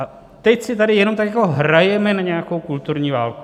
A teď si tady jenom tak jako hrajeme na nějakou kulturní válku.